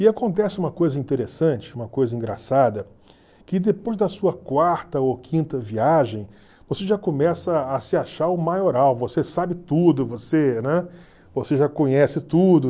E acontece uma coisa interessante, uma coisa engraçada, que depois da sua quarta ou quinta viagem, você já começa a se achar o maioral, você sabe tudo, você né você já conhece tudo.